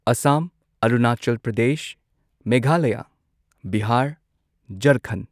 Assam Arunachal Pradesh Meghalaya Bihar Jharkhand